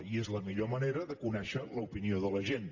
i és la millor manera de conèixer l’opinió de la gent